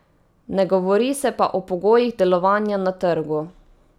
Ne govori se pa o pogojih delovanja na trgu.